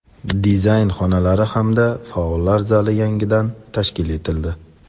dizayn xonalari hamda faollar zali yangidan tashkil etildi.